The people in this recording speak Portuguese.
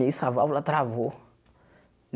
Nisso a válvula travou.